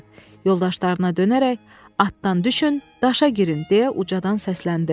Yoldaşlarına dönərək: "Atdan düşün, daşa girin!" deyə ucadan səsləndi.